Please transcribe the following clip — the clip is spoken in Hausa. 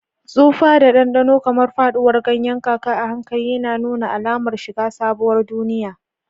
Tsufa da ɗanɗano, kamar faɗuwar ganyen kaka a hankali, yana nuna alamar shiga sabuwar duniya.